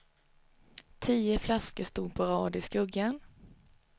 Tio flaskor stod på rad i skuggan.